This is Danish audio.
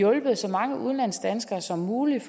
hjulpet så mange udenlandsdanskere som muligt